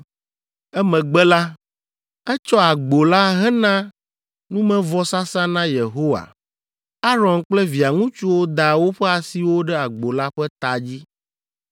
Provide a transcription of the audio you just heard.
Emegbe la, etsɔ agbo la hena numevɔsasa na Yehowa. Aron kple via ŋutsuwo da woƒe asiwo ɖe agbo la ƒe ta dzi.